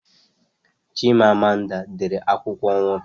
Chima Amanda dere akwụkwọ ohuru